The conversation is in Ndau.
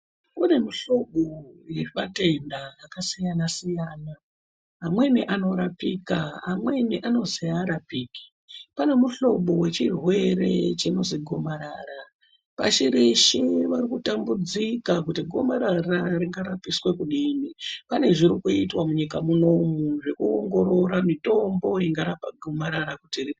Kune mihlobo yematenda akasiyana siyana. Amweni anorapika, amweni anozi haarapiki. Pane muhlobo wechirwere chinozi gomarara. Vazhinji vari kutambudzika kuti gomarara ringarapiswe kudini. Pane zviri kuitwa munyika munomu zvekuongorora mitombo ingarapa gomarara kuti ripere...